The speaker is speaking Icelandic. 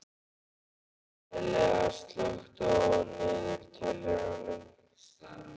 Elea, slökktu á niðurteljaranum.